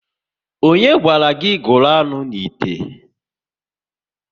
Ọnye gwara gị gụrụ anụ n'ite?